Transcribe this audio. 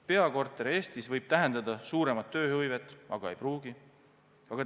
Peakorter Eestis võib tähendada suuremat tööhõivet, aga ei pruugi seda tähendada.